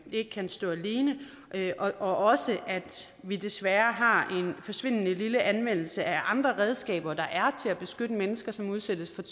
ikke kan stå alene og også at vi desværre har en forsvindende lille anvendelse af andre redskaber der er til at beskytte mennesker som udsættes for